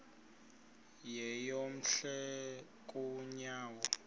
yeyom hle kanyawo